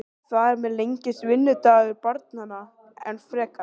Þar með lengist vinnudagur barnanna enn frekar.